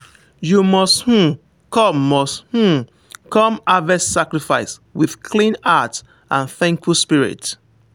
you must um come must um come harvest sacrifice with clean heart and thankful spirit.